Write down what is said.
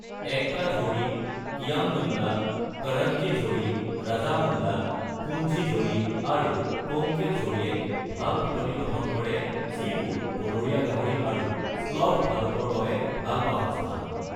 একতা ঝোডি, কিয়াম নুল্লা, কৰণজী ঝোডি, ৰাজামুণ্ডা, পুঞ্জি ঝোডি, আৰু কোমকেল ঝোডিয়ে ভাল পিটনি গঠন কৰে যিবোৰ বনৰীয়া গাহৰি আৰু শ্লথ ভালুকৰ বাবে ভাল বাসস্থান।